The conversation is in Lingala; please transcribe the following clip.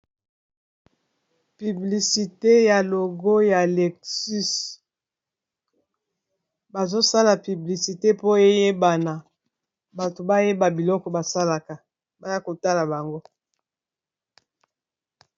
Piblisite ya logo ya alexus bazosala piblisite po eyebana bato bayeba biloko basalaka baya kotala bango